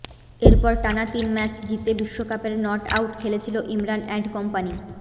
এরপর টানা তিন ম্যাচ জিতে বিশ্বকাপের নটআউট খেলেছিল ইমরান অ্যান্ড কোম্পানি